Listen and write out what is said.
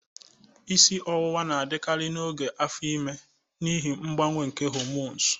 Isi ọwụwa na-adịkarị n'oge afo ime n'ihi mgbanwe nke hormosu.